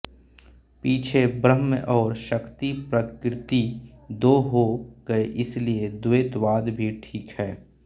पीछे ब्रह्म और शक्ति प्रकृति दो हो गए इसलिए द्वैतवाद भी ठीक है